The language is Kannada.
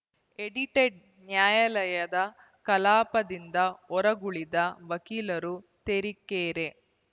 ಎಡಿಟೆಡ್‌ ನ್ಯಾಯಾಲಯದ ಕಲಾಪದಿಂದ ಹೊರಗುಳಿದ ವಕೀಲರು ತೆರೀಕೆರೆ